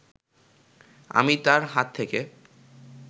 আমি তাঁর হাত থেকে